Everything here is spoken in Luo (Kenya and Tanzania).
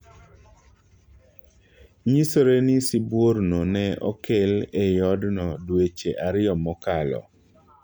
Nyisore ni sibuor no ne okel ei odno dweche ariyo mokalo